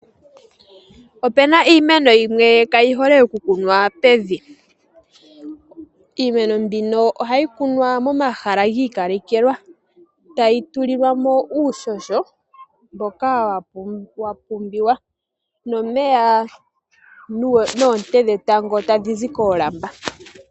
Opu na iimeno yimwe ka yi hole okukunwa pevi. Iimeno mbino ohayi kunwa momahala gi ikalekelwa, tayi tulilwa mo uuhoho mboka wa pumbiwa, omeya oshowo oonte tadhi zi koolamba.